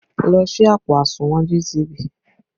Lọ ṣí àpò àsùnwọ̀n GTB!